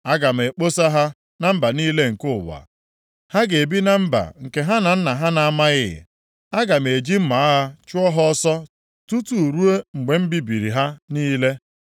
Aga m ekposa ha na mba niile nke ụwa. Ha ga-ebi na mba nke ha na nna ha na-amaghị. Aga m eji mma agha chụọ ha ọsọ tutu ruo mgbe m bibiri ha niile.”